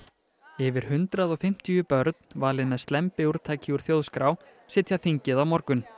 yfir hundrað og fimmtíu börn valin með slembiúrtaki úr þjóðskrá sitja þingið á morgun